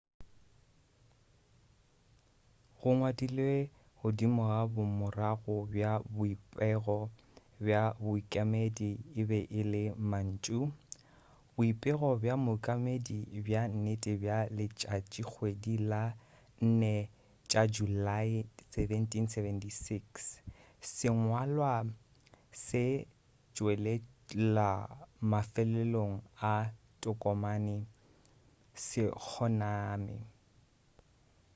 go ngwadilwe godimo ga bomorago bja boipego bja boikemedi e be e le mantšu boipego bja boikemedi bja nnete bja letšatšikgwedi la di 4 tša julae 1776 sengwalwa se tšwelela mafelelong a tokomane se kgoname